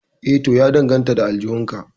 Eh to ya danganta da aljihun ka